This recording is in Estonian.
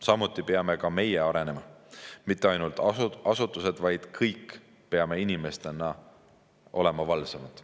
Samuti peame meie arenema – mitte ainult asutused, vaid kõik peame inimestena olema valvsamad.